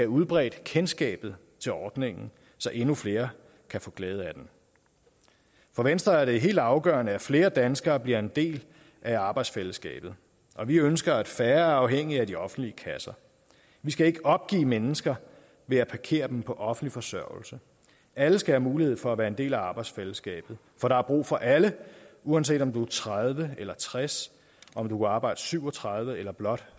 udbredt kendskabet til ordningen så endnu flere kan få glæde af den for venstre er det helt afgørende at flere danskere bliver en del af arbejdsfællesskabet og vi ønsker at færre er afhængige af de offentlige kasser vi skal ikke opgive mennesker ved at parkere dem på offentlig forsørgelse alle skal have mulighed for at være en del af arbejdsfællesskabet for der er brug for alle uanset om du tredive eller tres om du kan arbejde syv og tredive eller blot